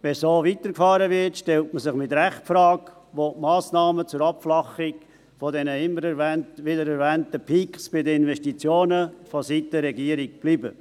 Wenn so weitergefahren wird, stellt man sich mit Recht die Frage, wo die Massnahmen zur Abflachung der immer wieder erwähnten Peaks bei den Investitionen vonseiten der Regierung bleiben.